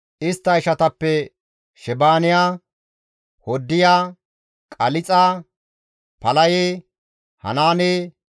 istta ishatappe Shebaaniya, Hoddiya, Qalixa, Palaye, Hanaane,